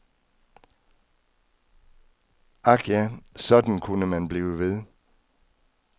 Ak ja, sådan kunne man blive ved.